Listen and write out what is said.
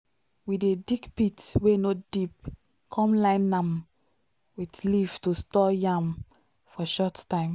we dey dig pit wey no deep come line nam with leaf to store yam for short time.